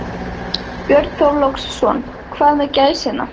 Björn Þorláksson: Hvað með gæsina?